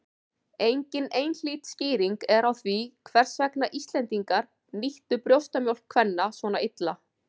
Engin einhlít skýring er á því hvers vegna Íslendingar nýttu brjóstamjólk kvenna svona illa.